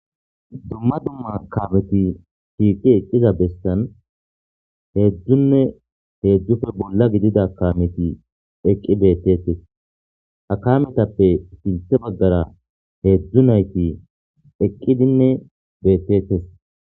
dumma dumma kameti shiiqi eqqiza besan heedzdzunne heedzdzufe bolla gidida kameti eqqi beettetes a kametappe sinthe baggara heedzdzu nayti eqqidinne beettetes